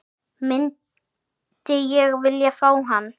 Myndi ég vilja fá hann?